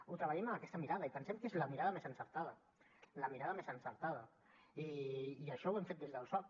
ho treballem amb aquesta mirada i pensem que és la mirada més encertada la mirada més encertada i això ho hem fet des del soc